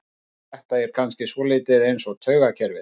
Þetta er kannski svolítið eins með taugakerfið.